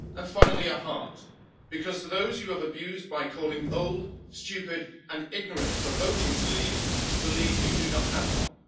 Finally, a heart, because those who you have abused by calling old, stupid and ignorant for voting to leave believe you do not have one.